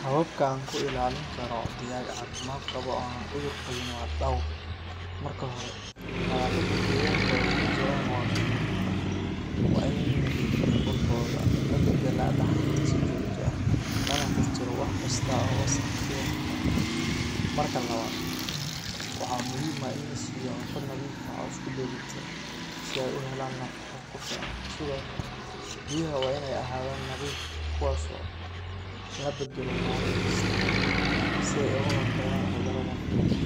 Hababka aan ku ilaalin karo digaag caafimaad qaba oo aan cudur qabin waa dhowr. Marka hore, nadaafadda deegaanka ay ku jiraan waa mid muhiim ah. Waa in la nadiifiyaa qolkooda, la beddelaa dhaxaanta si joogto ah, lana tirtiro wax kasta oo wasakh keeni kara. Marka labaad, waxaa muhiim ah in la siiyo cunto nadiif ah oo isku dheeli tiran si ay u helaan nafaqo ku filan. Sidoo kale, biyaha waa in ay ahaadaan nadiif, kuwaas oo la beddelo maalin kasta si ay uga hortagaan cudurrada faafa.